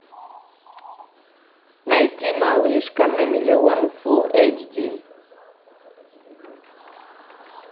найти малышка на миллион фулл эйч ди